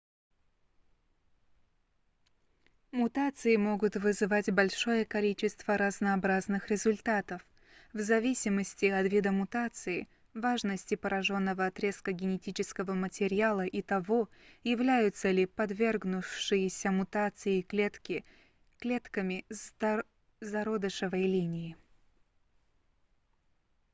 мутации могут вызвать большое количество разнообразных результатов в зависимости от вида мутации важности пораженного отрезка генетического материала и того являются ли подвергнувшиеся мутации клетки клетками зародышевой линии